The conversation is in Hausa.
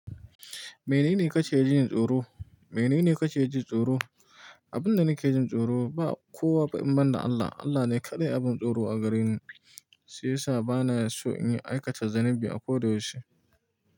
Menene kake jin tsoro? Menene kake ji tsoro? Abin da nake jin tsoro ba kowa ba, in ban da Allah. Allah ne kaɗai abin tsoro a gare ni, shi yasa bana so in yi aikata zunubi a koda yaushe.